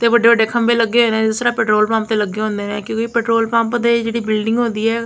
ਤੇ ਵੱਡੇ ਵੱਡੇ ਖੰਭੇ ਲੱਗੇ ਹੋਏ ਨੇਂ ਜਿਸ ਤਰ੍ਹਾਂ ਪੈਟ੍ਰੋਲ ਪੰਪ ਤੇ ਲੱਗੇ ਹੁੰਦੇ ਨੇਂ ਕਿਉਂਕਿ ਪੈਟ੍ਰੋਲ ਪੰਪ ਦੇ ਜਿਹੜੀ ਬਿਲਡਿੰਗ ਹੁੰਦੀ ਹੈ।